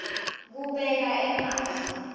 kubeka emavi